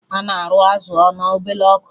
Ana arụ azụ na ọbele ọkụ